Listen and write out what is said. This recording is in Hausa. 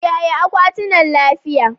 Kiyaye akwatina lafiya